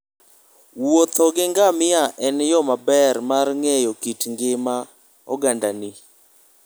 Wuotho gi ngamia en yo maber mar ng'eyo kit ngima ogandagi.